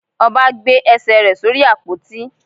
Oba gbe ẹ́sè re sorí ápotí.